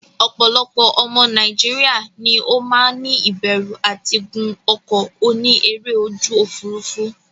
Opolopo omo Nigeria ni o maa ni iberu ati gun oko oni ere oju ofurufu.